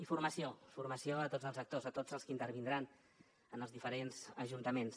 i formació formació a tots els actors a tots els que intervindran en els diferents ajuntaments